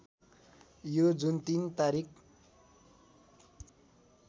यो जुन ३ तारिख